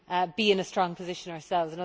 be in a strong position ourselves.